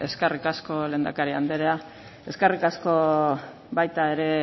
eskerrik asko lehendakari andrea eskerrik asko baita ere